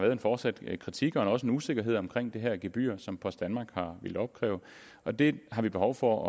er en fortsat kritik af og også en usikkerhed omkring det her gebyr som post danmark har villet opkræve og det har vi behov for